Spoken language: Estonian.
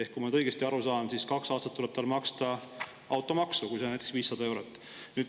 Kui ma nüüd õigesti aru saan, siis kaks aastat tuleb tal maksta automaksu, see võib olla näiteks 500 eurot.